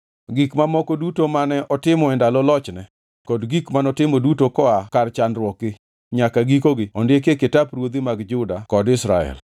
Gik mamoko duto mane otimo e ndalo lochne kod gik manotimo duto koa kar chakruokgi nyaka gikogi ondikie kitap ruodhi mag Juda kod Israel.